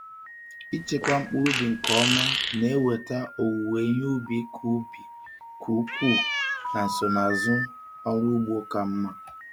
Ịchekwa mkpụrụ nke ọma na-eweta owuwe ihe ubi ka ubi ka ukwuu na nsonaazụ ọrụ ugbo ka mma.